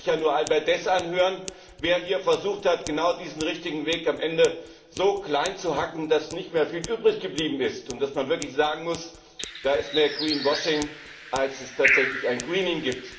Da musste man sich nur Albert Deß anhören, der hier versucht hat, genau diesen richtigen Weg am Ende so kleinzuhacken, dass nicht mehr viel übrig geblieben ist und man wirklich sagen muss, das ist eher green washing, als tatsächlich ein Greening